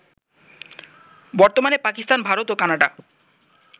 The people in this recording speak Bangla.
বর্তমানে পাকিস্তান, ভারত, কানাডা